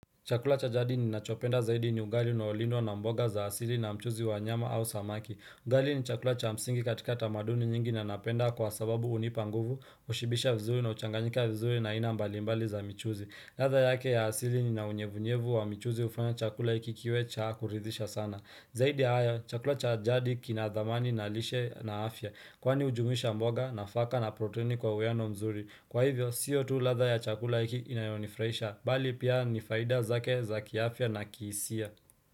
Chakula cha jadi ni nachopenda zaidi ni ugali uaoliwa na mboga za asili na mchuzi wanyama au samaki. Ugali ni chakula cha msingi katika tamaduni nyingi na napenda kwa sababu hunipanguvu, ushibisha vizuri na uchanganyika vizuri na aina mbalimbali za mchuzi. Ladha yake ya asili i na unyevunyevu wa mchuzi ufanya chakula iki kiwe cha kuridhisha sana. Zaidi ya haya, chakula cha jadi kinadhamani na lishe na afya, kwani ujumuisha mboga na faka na proteini kwa ueno mzuri. Kwa hivyo, sio ladha ya chakula iki inayonifurahisha, bali pia nifaida zake za kiafia na kihisia.